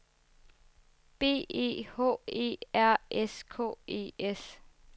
B E H E R S K E S